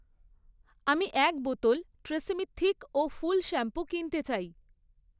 আমি এক বোতল ট্রেসিমি থিক ও ফুল শ্যাম্পু কিনতে চাই